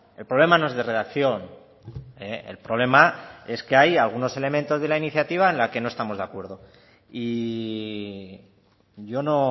el problema no es de redacción el problema es que hay algunos elementos de la iniciativa en la que no estamos de acuerdo y yo no